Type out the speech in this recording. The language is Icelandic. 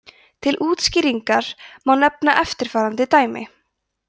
til útskýringar má nefna eftirfarandi dæmi